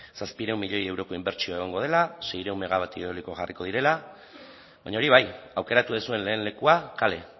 zazpiehun milioi euroko inbertsioa egongo dela seiehun megabatio eoliko jarriko direla baina hori bai aukeratu duzuen lehen lekua kale